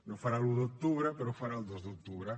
no ho farà l’un d’octubre però ho farà el dos d’octubre